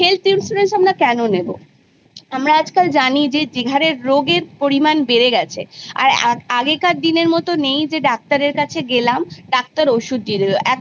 health insurance আমরা কেন নেব আমরা আজকাল জানি যে যেভাবে রোগের পরিমান বেড়ে গেছে আর আগেকার দিনের মত নেই যে ডাক্তারের কাছে গেলাম ডাক্তার ওষুধ দিয়ে দিল এখন